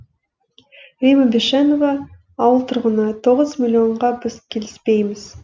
римма бишенова ауыл тұрғыны тоғыз миллионға біз келісіпейміз